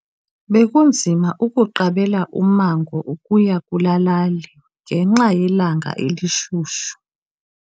Bekunzima ukuqabela ummango ukuya kulaa lali ngenxa yelanga elishushu.